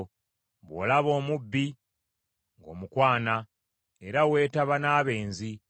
Bw’olaba omubbi, ng’omukwana; era weetaba n’abenzi.